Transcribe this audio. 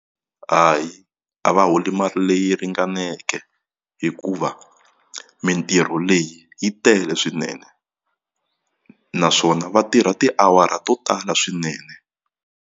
Hayi a va holi mali leyi ringaneke hikuva mintirho leyi yi tele swinene naswona va tirha tiawara to tala swinene.